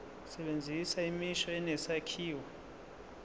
sebenzisa imisho enesakhiwo